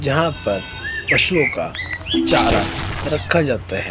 जहां पर पशुओं का चारा रखा जाता है।